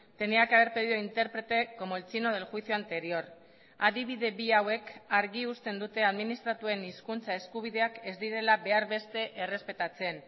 tenía que haber pedido intérprete como el chino del juicio anterior adibide bi hauek argi uzten dute administratuen hizkuntza eskubideak ez direla behar beste errespetatzen